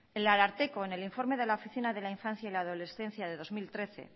el ararteko en el informe de la oficina de la infancia y la adolescencia de dos mil trece